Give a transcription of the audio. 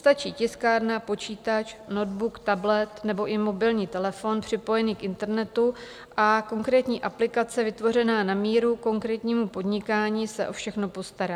Stačí tiskárna, počítač, notebook, tablet nebo i mobilní telefon připojený k internetu a konkrétní aplikace vytvořená na míru konkrétnímu podnikání se o všechno postará.